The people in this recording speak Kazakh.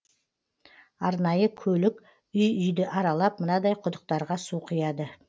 арнайы көлік үй үйді аралап мынадай құдықтарға су құяды